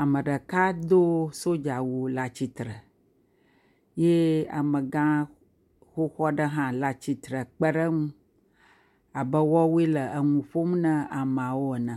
Ame ɖeka do sodzawu le atsitre ye amegã xoxo aɖe hã le atsitre kpe ɖe eŋu abe woawɔe le nu ƒom ne ameawo ene.